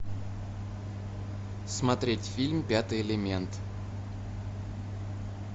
смотреть фильм пятый элемент